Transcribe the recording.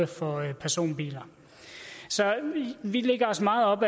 for personbiler så vi lægger os meget op